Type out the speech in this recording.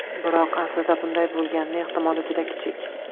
Biroq, aslida, bunday bo‘lganini ehtimoli juda kichik.